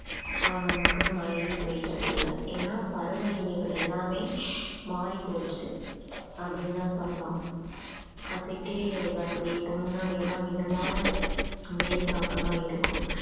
ஆஹ் நமக்கு மழையே பெய்றதில்லை ஏன்னா பருவநிலைகள் எல்லாமே மாறிப்போச்சு அப்படின்னுதான் சொல்லலாம் அஹ் சித்திரை வைகாசியிலே இப்போ முன்னாடி எல்லாம் மிதமான வெயில் தாக்கமா இருக்கும்